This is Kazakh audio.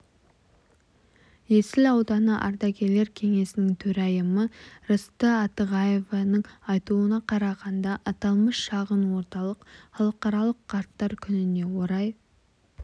есіл ауданы ардагерлер кеңесінің төрайымы рысты атығаеваның айтуына қарағанда аталмыш шағын орталық халықаралық қарттар күніне орай